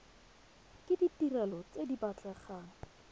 ke ditirelo tse di batlegang